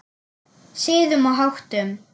Siðum og háttum.